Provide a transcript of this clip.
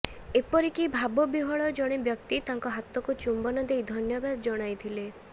ଏପରିକି ଭାବ ବିହ୍ବଳ ଜଣେ ବ୍ୟକ୍ତି ତାଙ୍କ ହାତକୁ ଚୁମ୍ବନ ଦେଇ ଧନ୍ୟବାଦ ଜଣାଇଥିଲେ